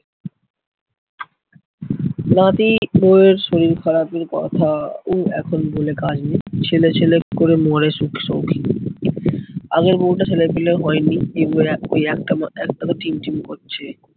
নাতি বউয়ের শরীর খারাপের কথাও এখন বলে কাজে নেই। ছেলে ছেলে করে মরে সুখ সৌখী, আগের বউটার ছেলে পিলে হয়নি, এবার ওই একটা মা একটাতো টিম টিম করছে।